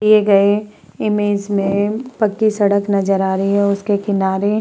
दिए गए इमेज में पक्की सड़क नजर आ रही है। उसके किनारे --